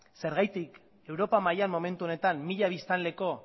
zergatik europa mailan momentu honetan mila biztanleko